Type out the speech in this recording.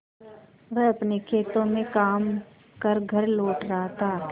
वह अपने खेतों में काम कर घर लौट रहा था